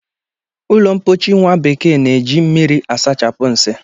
Ụlọmpochi nwabekee na-eji mmiri asachapụ nsị